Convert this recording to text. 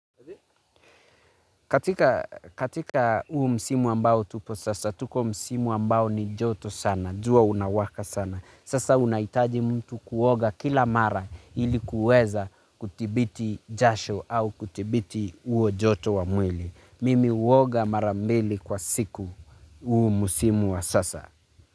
Katika uu msimu ambao tupo sasa, tuko msimu ambao ni joto sana, jua unawaka sana. Sasa unaitaji mtu kuoga kila mara ili kuweza kutibiti jasho au kutibiti uo joto wa mwili. Mimi uoga mara mbili kwa siku uu msimu wa sasa.